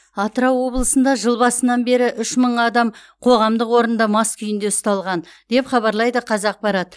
атырау облысында жыл басынан бері үш мың адам қоғамдық орында мас күйінде ұсталған деп хабарлайды қазақпарат